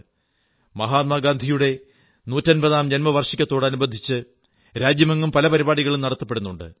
മഹാത്മാഗാന്ധിയുടെ നൂറ്റമ്പതാം ജന്മവാർഷികത്തോടനുബന്ധിച്ച് രാജ്യമെങ്ങും പല പരിപാടികളും നടത്തപ്പെടുന്നുണ്ട്